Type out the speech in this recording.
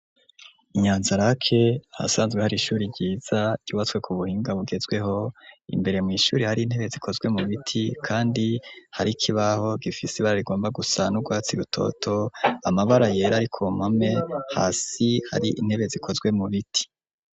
Inyanzarake ahasanzwe hari ishure ryiza ryubatswe ku buhinga bugezweho imbere mu ishure hari intebe zikozwe mu biti kandi hari ikibaho gifise ibara rigomba gusa n'urwatsi rutoto amabara yera ariko mpame hasi hari intebe zikozwe mu biti.